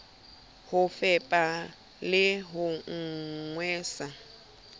ho fepa le ho nwesa